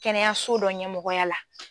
Kɛnɛyaso dɔ ɲɛmɔgɔya la.